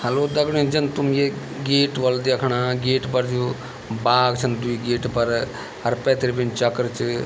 हेल्लो दगड़ियों जन तुम ये गेट होल देखणा गेट पर जो बाघ छन द्वि गेट पर अर पैथर बिन इन चक्र च।